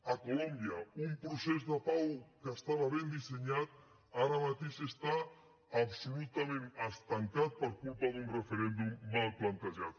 a colòmbia un procés de pau que estava ben dissenyat ara mateix està absolutament estancat per culpa d’un referèndum mal plantejat